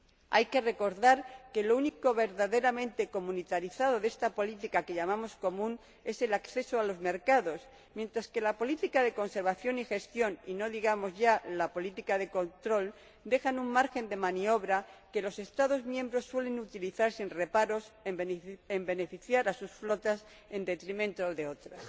Hay que recordar que lo único verdaderamente comunitarizado de esta política que llamamos común es el acceso a los mercados, mientras que la política de conservación y gestión y no digamos ya la política de control dejan un margen de maniobra que los Estados miembros suelen utilizar sin reparos para beneficiar a sus flotas en detrimento de otras.